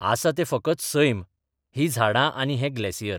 आसा तें फकत सैम, हीं झाडां आनी हें ग्लेसियर.